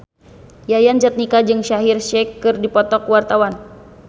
Yayan Jatnika jeung Shaheer Sheikh keur dipoto ku wartawan